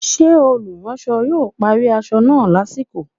Ṣé olùránsọ yóò parí aṣọ náà lásìkò?